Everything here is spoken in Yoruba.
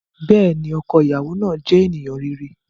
Bẹẹni, ọkọ iyawo naa jẹ eniyan rere.